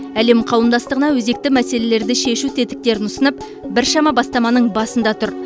әлем қауымдастығына өзекті мәселелерді шешу тетіктерін ұсынып біршама бастаманың басында тұр